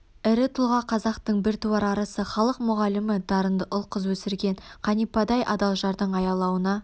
ірі тұлға қазақтын біртуар арысы халық мұғалімі дарынды ұл қыз өсірген қанипадай адал жардың аялауна